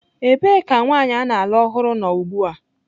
Ebee ka nwanyị a na-alụ ọhụrụ nọ ugbu a?